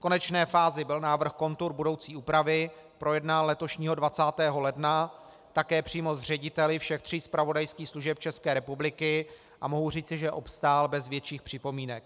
V konečné fázi byl návrh kontur budoucí úpravy projednán letošního 20. ledna také přímo s řediteli všech tří zpravodajských služeb České republiky a mohu říci, že obstál bez větších připomínek.